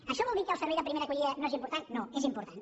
això vol dir que el servei de primera acollida no és important no és important